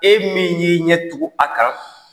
E min y'i ɲɛ tugun a kan